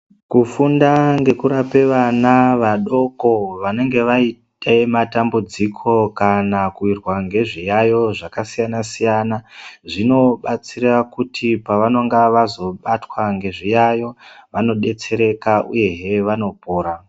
Kufunda ngekurape vana vadoko vanenge vaite matambudziko, kana kuwirwa ngezviyaiyo zvakasiyana-siyana, zvinobetsera kuti pavanonga vazobatwa ngezviyaiyo, vanodetsereka uyehe vanopora.